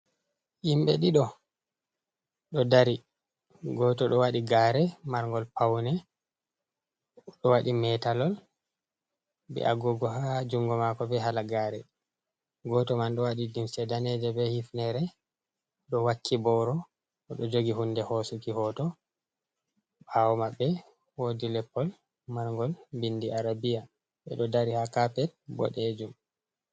Himbe dido do dari, goto do waɗi gare marngol paune do waɗi metallol be agugo ha jungo mako, be hala gare, goto man do wadi limce daneje be hifnere do wakki bowro, odo jogi hunde hosuki hoto. Ɓawomamɓe wodi leppol marngol bindi arabia ɓeɗo dari ha kapet boɗejum.